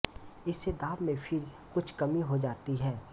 इससे दाब में फिर कुछ कमी हो जाती है